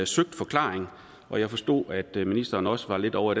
søgt forklaring og jeg forstod at ministeren også var lidt ovre